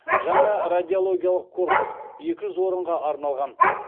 жаңа радиологиялық корпус екі жүз орынға арналған